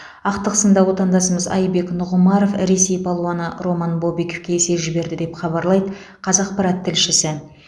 ақтық сында отандасымыз айбек нұғымаров ресей палуаны роман бобиковке есе жіберді деп хабарлайды қазақпарат тілшісі